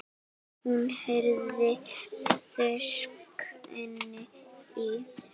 Hún heyrði þrusk inni í